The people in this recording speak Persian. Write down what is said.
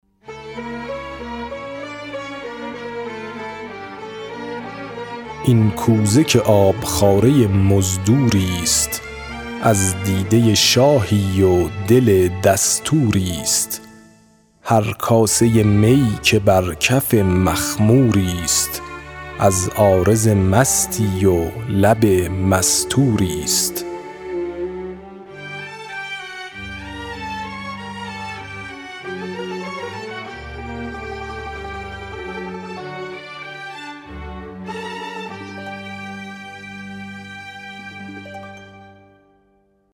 این کوزه که آبخواره مزدوری ست از دیده شاهی و دل دستوری ست هر کاسه می که بر کف مخموری ست از عارض مستی و لب مستوری ست